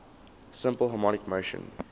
simple harmonic motion